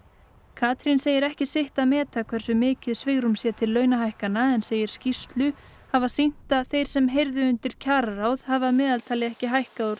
Katrín segir ekki sitt að meta hversu mikið svigrúm sé til launahækkana en segir skýrslu hafa sýnt að þeir sem heyrðu undir kjararáð hafi að meðaltali ekki hækkað